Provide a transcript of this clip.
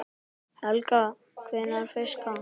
Helga: Hvernig fiska?